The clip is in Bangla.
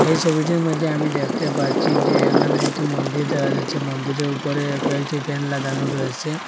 এই ছবিটির মধ্যে আমি দেখতে পাচ্ছি যে এখানে একটি মন্দির দেখা যাচ্ছে মন্দিরের ওপরে কয়েকটি ফ্যান লাগানো রয়েছে।